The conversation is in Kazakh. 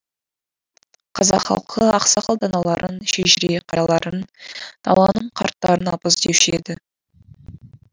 қазақ халқы ақсақал даналарын шежіре қарияларын даланың қарттарын абыз деуші еді